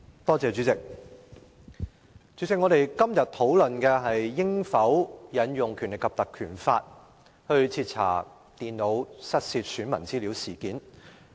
代理主席，我們今天討論應否引用《立法會條例》徹查手提電腦失竊，選民資料外泄事件。